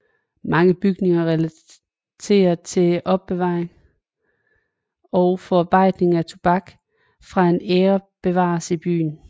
Mange bygninger relateret til opbevaring og forarbejdning af tobak fra den æra bevares i byen